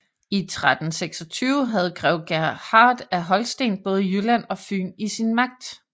I 1326 havde grev Gerhard af Holsten både Jylland og Fyn i sin magt